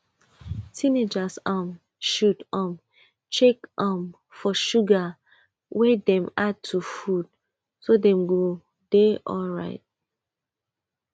teenagers um should um check um for sugar wey dem add to food so dem go dey alright